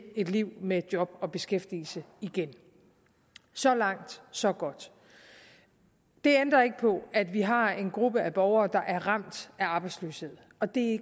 et liv med job og beskæftigelse igen så langt så godt det ændrer ikke på at vi har en gruppe borgere der er ramt af arbejdsløshed og det er